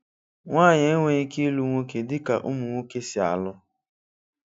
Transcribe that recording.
Nwanyị enweghị ike ịlụ nwoke dị ka ụmụ nwoke si alụ.